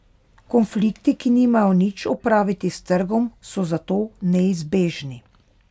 Konflikti, ki nimajo nič opraviti s trgom, so zato neizbežni.